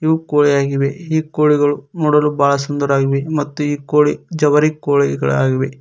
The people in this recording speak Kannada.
ಕು ಕೋಳಿಯಾಗಿವೆ ಈ ಕೋಳಿಗಳು ನೋಡಲು ಬಹಳ ಸುಂದರವಾಗಿವೆ ಮತ್ತು ಈ ಕೋಳಿ ಜವರಿ ಕೋಳಿಗಳಾಗಿವೆ.